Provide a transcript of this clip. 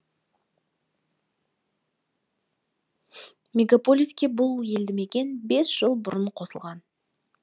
мегаполиске бұл елді мекен бес жыл бұрын қосылған